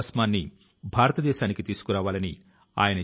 శుభ్ర జ్యోత్స్నా పులకిత యామినీమ్